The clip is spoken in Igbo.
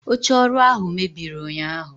oche oru ahu mebiri unyahu